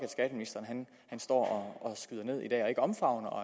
skatteministeren står og skyder ned i dag og ikke omfavner og